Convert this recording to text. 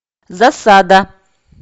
засада